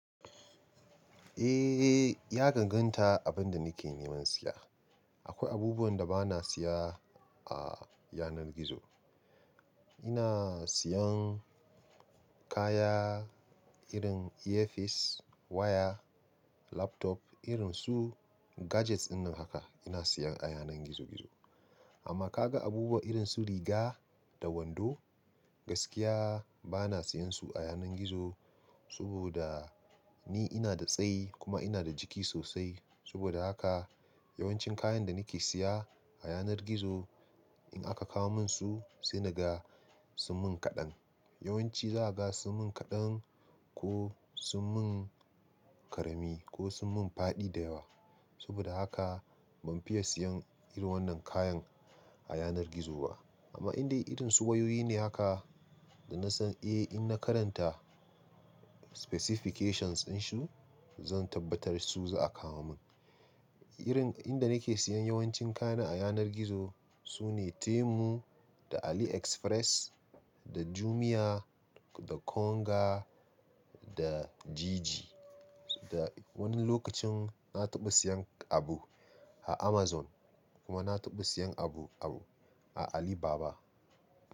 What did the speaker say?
Eh, ya garganta abin da nake neman siya. Akwai abubuwan da bana siya a yanar gizo. Ina siyan kaya irin earpiece, waya, laptop irin su gadgets din haka ina siyan a yanar gizo-gizo. Amma ka ga abubuwa irin su riga da wando, gaskiya bana siyansu a yanar gizo saboda ni ina da tsayi kuma ina da jiki sosai. Saboda haka yawancin kayan da nake siya a yanar gizo in aka kawo mun su sai na ga sun mun kaɗan. Yawanci za a ga sun mun kaɗan ko sun mun ƙarami ko sun mun faɗi da yawa. Saboda haka ban fiye siyan irin wannan kayan a yanar gizo ba. Amma indai irin su wayoyi ne haka da na san eh in na karanta specifications din su zan tabbatar su za a kawo mun. Irin inda nake siyan yawancin kayana a yanar gizo su ne Temu da AliExpress da Jumia da Konga da Jiji. Da wani lokacin na taɓa siyan abu a Amazon kuma na taɓa siyan abu, abu a Alibaba.